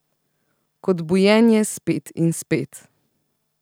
Kot bujenje spet in spet.